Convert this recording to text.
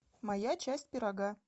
моя часть пирога